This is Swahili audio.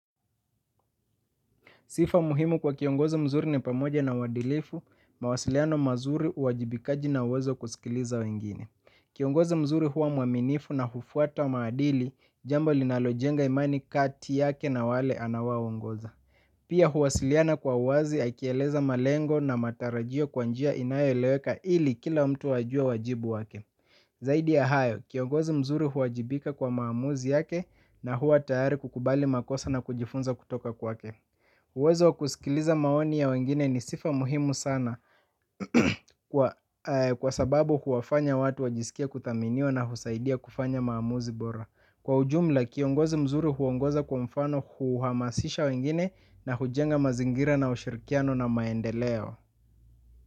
Sifa muhimu kwa kiongozi mzuri ni pamoja na uadilifu, mawasiliano mazuri, uwajibikaji na uwezo wa kusikiliza wengine. Kiongozi mzuri huwa mwaminifu na hufuata wa maadili, jambo linalojenga imani kati yake na wale anaowaongoza. Pia huwasiliana kwa uwazi, akieleza malengo na matarajio kwa njia inayoeleweka ili kila mtu ajue wajibu wake. Zaidi ya hayo, kiongozi mzuri huwajibika kwa maamuzi yake na huwa tayari kukubali makosa na kujifunza kutoka kwake. Uwezo kusikiliza maoni ya wengine ni sifa muhimu sana kwa sababu huwafanya watu wajisikie kuthaminiwa na husaidia kufanya maamuzi bora. Kwa ujumla kiongozi mzuri huongoza kwa mfano huhamasisha wengine na hujenga mazingira na ushirikiano na maendeleo.